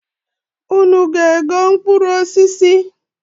Unu ga-ego mkpụrụ osis?